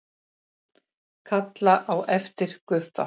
Kalla á eftir Guffa.